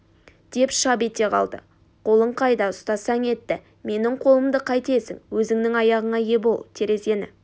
деп шап ете қалды қолың қайда ұстасаң етті менің қолымды қайтесің өзіңнің аяғыңа ие бол терезені